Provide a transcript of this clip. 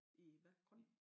I hvad grøn?